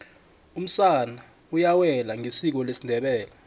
umsana uyawela ngesiko lesindebele